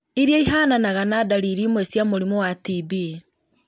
iria ihananaga na dariri imwe cia mũrimũ wa TB.